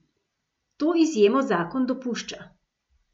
To izjemo zakon dopušča.